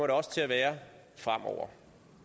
det også til at være fremover